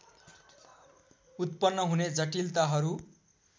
उत्पन्न हुने जटिलताहरू